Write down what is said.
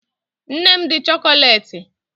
Nne m dị chokoleti